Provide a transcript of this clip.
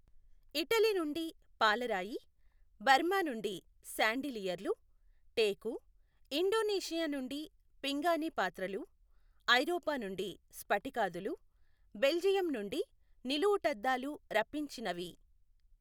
Italy నుండి పాలరాయి, Burma నుండి శాండిలియర్లు, టేకు, ఇండోనేషియా నుండి పింగాణీ పాత్రలు, ఐరోపా నుండి స్ఫటికాదులు, బెల్జియం నుండి నిలువుటద్దాలు రప్పించినవి.